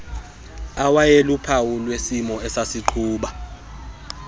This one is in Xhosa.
awayeluphawu lwesimo esasigquba